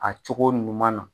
A cogo ɲuman na